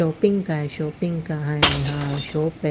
Shopping क है shopping कहा है यहाँ शॉप है।